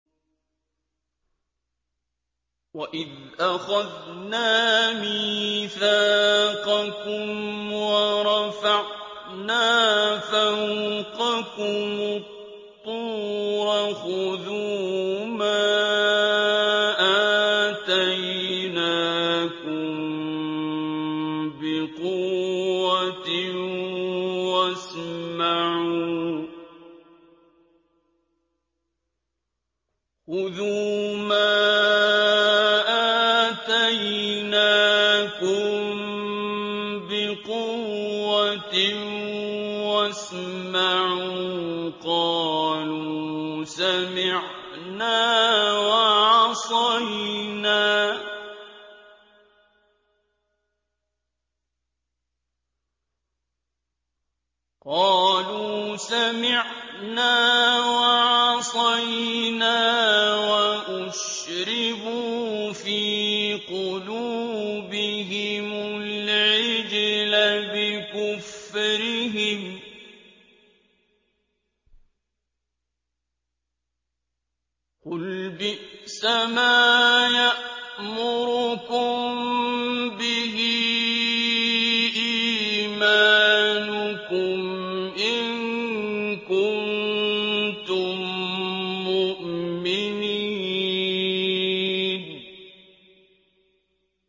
وَإِذْ أَخَذْنَا مِيثَاقَكُمْ وَرَفَعْنَا فَوْقَكُمُ الطُّورَ خُذُوا مَا آتَيْنَاكُم بِقُوَّةٍ وَاسْمَعُوا ۖ قَالُوا سَمِعْنَا وَعَصَيْنَا وَأُشْرِبُوا فِي قُلُوبِهِمُ الْعِجْلَ بِكُفْرِهِمْ ۚ قُلْ بِئْسَمَا يَأْمُرُكُم بِهِ إِيمَانُكُمْ إِن كُنتُم مُّؤْمِنِينَ